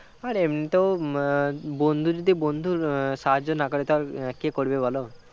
আর এমনিতেও উম বন্ধু যদি বন্ধুর সাহায্য না করে তাহলে কে করবে বলো